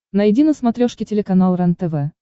найди на смотрешке телеканал рентв